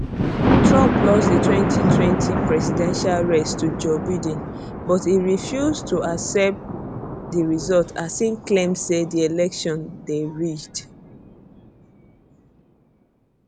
trump lost di 2020 presidential race to joe biden but e refuse to accept di result as e claim say di election dey rigged